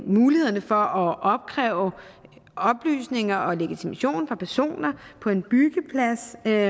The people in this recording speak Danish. mulighederne for at opkræve oplysninger om og legitimation fra personer på en byggeplads der